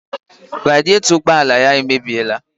Radietọ ụgbọala ya emebiela